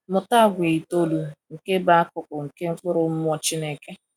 Mụta àgwà itoolu nke bụ akụkụ nke mkpụrụ Mmụọ Chineke.